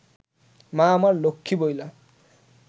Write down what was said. মা আমার লক্ষ্মী বইলা